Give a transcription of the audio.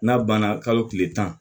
N'a banna kalo tile tan